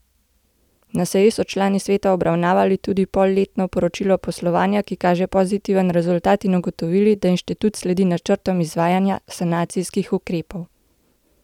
Na seji so člani sveta obravnavali tudi polletno poročilo poslovanja, ki kaže pozitiven rezultat, in ugotovili, da inštitut sledi načrtom izvajanja sanacijskih ukrepov.